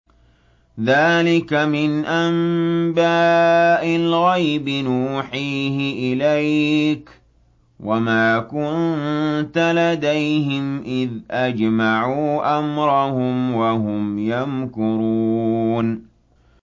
ذَٰلِكَ مِنْ أَنبَاءِ الْغَيْبِ نُوحِيهِ إِلَيْكَ ۖ وَمَا كُنتَ لَدَيْهِمْ إِذْ أَجْمَعُوا أَمْرَهُمْ وَهُمْ يَمْكُرُونَ